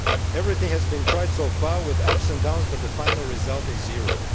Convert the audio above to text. Everything has been tried so far, with ups and downs, but the final result is zero.